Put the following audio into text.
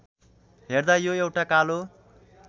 हेर्दा यो एउटा कालो